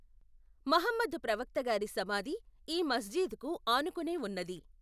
Muhammad ప్రవక్త గారి సమాధి ఈ మస్జిద్ కు ఆనుకునేవున్నది.